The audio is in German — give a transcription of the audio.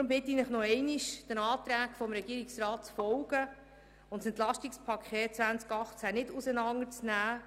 Deshalb bitte ich Sie nochmals, den Anträgen des Regierungsrats zu folgen und das EP 2018 nicht auseinanderzunehmen.